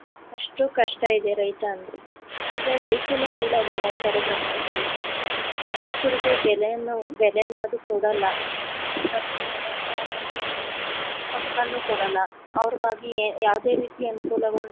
ಅಷ್ಟು ಕಷ್ಟ ಇದೆ ರೈತ ಅಂದ್ರೆ ಆದ್ರೆ ರೈತನ್ನ ಕೀಳಾಗಿ ನೋಡ್ತಾರೆ ಪ್ರಪಂಚ ಈಗ ರೈತರುಗೆ ಬೆಲೆನು ಬೆಲೆ ಅನ್ನೋದನ್ನ ಕೊಡಲ್ಲ ಮತ್ತೆ ಅವ್ರಿಗೆ ಆದಂತಹ ಒಂದು ಹಕ್ಕನ್ನು ಕೊಡಲ್ಲ ಅವ್ರಗಾಗಿ ಯಾವುದೇ ರೀತಿ ಅನುಕೂಲಗಳನ್ನು